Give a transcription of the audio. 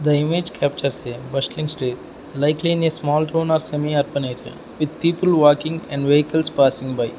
the image captures a bustling street likely in a small rural semi urban area with people walking and vehicles passing by.